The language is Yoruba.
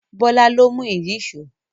Bọ́lá ló mú ìyíṣòó.